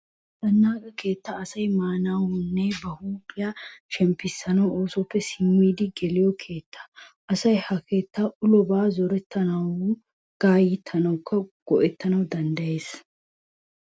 Zannaqa keettay asay maanawu uyanawunne ba huuphiya shemppissanawu oosuwappe simmidi geliyo keetta. Asay ha keettaa ulobaa zorettanawukka gayittanawu go'ettana danddayees.